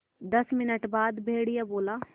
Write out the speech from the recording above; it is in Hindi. दस मिनट बाद भेड़िया बोला